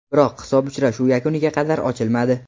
Biroq hisob uchrashuv yakuniga qadar ochilmadi.